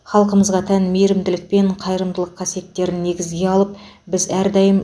халқымызға тән мейірімділік пен қайырымдылық қасиеттерін негізге алып біз әрдайым